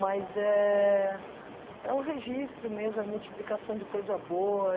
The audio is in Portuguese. Mas é é o registro mesmo, a multiplicação de coisa boa.